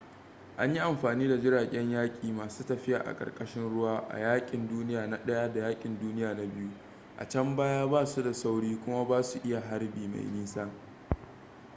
an yi amfani da jiragen yaƙi masu tafiya a ƙarƙashin ruwa a yaƙin duniya na i da yaƙin duniya na ii a can baya ba su da sauri kuma ba su iya harbi mai nisa